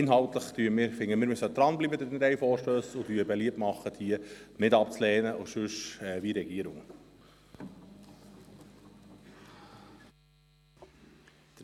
Inhaltlich halten wir an den drei Vorstössen fest und machen beliebt, diese nicht abzulehnen und ansonsten so zu verfahren, wie es die Regierung vorschlägt.